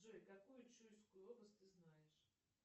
джой какую чуйскую область ты знаешь